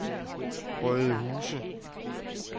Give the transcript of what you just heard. Rødehuse